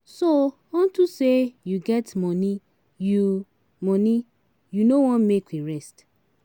So unto say you get money you money you no wan make we rest.